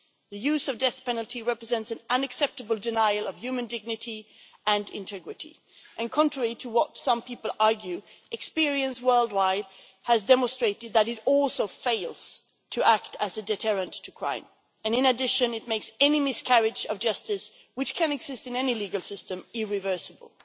The use of the death penalty represents an unacceptable denial of human dignity and integrity and, contrary to what some people argue, experience worldwide has demonstrated that it also fails to act as a deterrent to crime. In addition, it makes any miscarriage of justice and those can happen in any legal system irreversible.